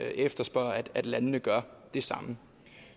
efterspørger at landene gør det samme